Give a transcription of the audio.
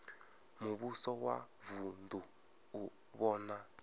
muvhuso wa vunu u vhona